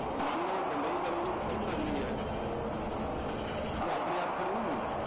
ਮੰਨ ਲਓ ਬੰਬਈ ਵਾਲੀ ਜਿਹੜੀ film ਨਗਰੀ ਰਹੀ ਹੈ ਉਹ ਆਪਣੇ ਆਪ ਖੜੀ ਨੀ ਹੋਈ